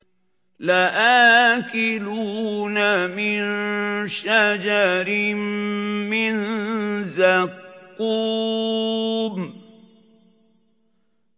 لَآكِلُونَ مِن شَجَرٍ مِّن زَقُّومٍ